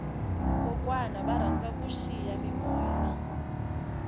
kokwana va rhandza ku vona xiyamimoya